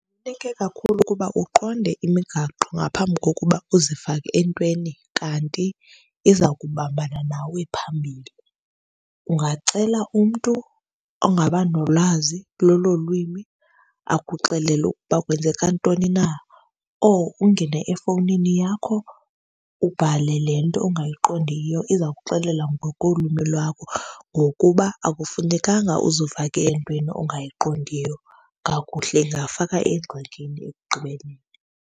Kakhulu ukuba uqonde imigaqo ngaphambi kokuba uzifake entweni kanti iza kubambana nawe phambili. Ungacela umntu ongaba nolwazi lolo lwimi akuxelele ukuba kwenzeka ntoni na or ungene efowunini yakho ubhale le nto ongayiqondiyo iza kuxelela ngokolwimi lwakho. Ngokuba akufunekanga uzifake entweni ongayiqondiyo kakuhle, ingakufaka engxakini ekugqibeleni.